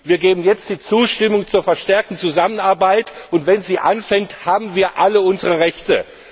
Wir geben jetzt die Zustimmung zur verstärkten Zusammenarbeit, und wenn sie beginnt, haben wir alle unsere Rechte.